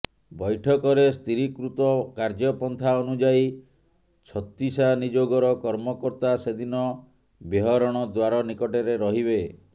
ବୈଠକରେ ସ୍ଥିରୀକୃତ କାର୍ଯ୍ୟପନ୍ଥା ଅନୁଯାୟୀ ଛତିଶାନିଯୋଗର କର୍ମକର୍ତା ସେଦିନ ବେହରଣ ଦ୍ବାର ନିକଟରେ ରହିବେ